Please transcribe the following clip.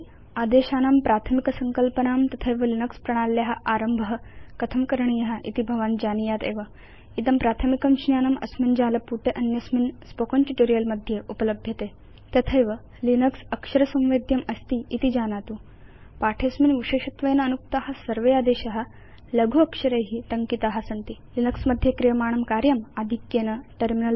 उपयुञ्जे आदेशानां प्राथमिकसंकल्पनां तथैव लिनक्स प्रणाल्या आरम्भ कथं करणीय इति भवान् जानीयात् एव इदं प्राथमिकं ज्ञानम् अस्मिन् जालपुटे अन्यस्मिन् स्पोकेन ट्यूटोरियल् मध्ये उपलभ्यते तथैव यत् लिनक्स अक्षर संवेद्यमस्तीति जानातु अस्मिन् पाठे विशेषत्वेन अनुक्ता सर्वे आदेशा लघु अक्षरै टङ्किता सन्ति लिनक्स मध्ये क्रियमाणं कार्यम् आधिक्येन टर्मिनल